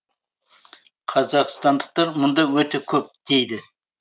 қазақстандықтар мұнда өте көп дейді